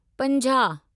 पंजाहु